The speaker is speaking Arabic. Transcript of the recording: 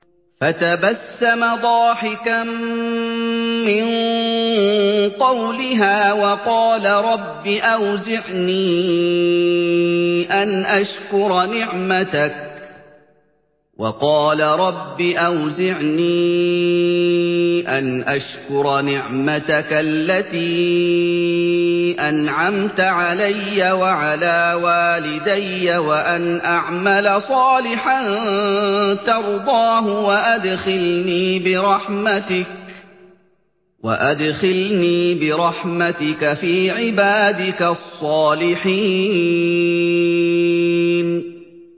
فَتَبَسَّمَ ضَاحِكًا مِّن قَوْلِهَا وَقَالَ رَبِّ أَوْزِعْنِي أَنْ أَشْكُرَ نِعْمَتَكَ الَّتِي أَنْعَمْتَ عَلَيَّ وَعَلَىٰ وَالِدَيَّ وَأَنْ أَعْمَلَ صَالِحًا تَرْضَاهُ وَأَدْخِلْنِي بِرَحْمَتِكَ فِي عِبَادِكَ الصَّالِحِينَ